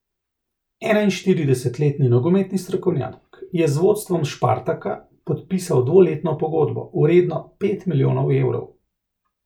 Enainštiridesetletni nogometni strokovnjak je z vodstvom Spartaka podpisal dvoletno pogodbo, vredno pet milijonov evrov.